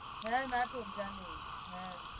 হ্যাঁ নাটক জানি হ্যাঁ